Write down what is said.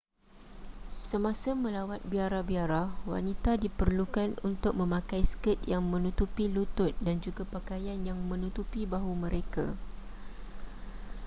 semasa melawat biara-biara wanita diperlukan untuk memakai skirt yang menutupi lutut dan juga pakaian yang menutupi bahu mereka